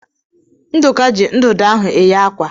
Nduka ji ndụdụ ahụ eye àkwá.